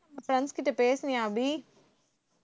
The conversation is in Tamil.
friends கிட்ட பேசுனியா அபி